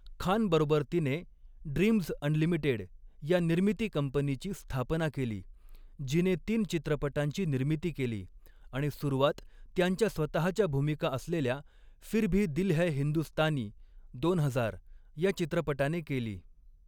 खानबरोबर तिने 'Dreamz Unlimited' या निर्मिती कंपनीची स्थापना केली, जिने तीन चित्रपटांची निर्मिती केली आणि सुरुवात त्यांच्या स्वतहाच्या भूमिका असलेल्या 'फिर भी दिल है हिंदुस्तानी' दोन हजार या चित्रपटाने केली.